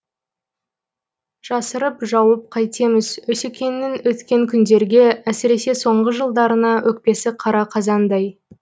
жасырып жауып қайтеміз осекеңнің өткен күндерге әсіресе соңғы жылдарына өкпесі қара қазандай